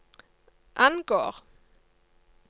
angår